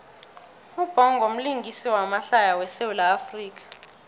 ubhongo mlingisi wamahlaya we sawula afrika